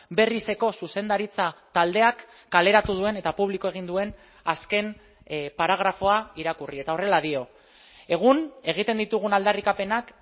berrizeko zuzendaritza taldeak kaleratu duen eta publiko egin duen azken paragrafoa irakurri eta horrela dio egun egiten ditugun aldarrikapenak